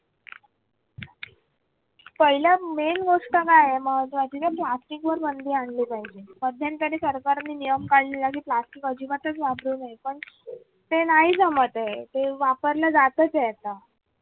पाहिलं main गोष्ट काय आहे मग त्या plastic वर बंदी आणली पाहिजे मध्यंतरी सरकारने नियम काढलेला की plastic अजिबातच वापरू नये पण ते नाही जमते ते वापरल्या जातच आहे आत्ता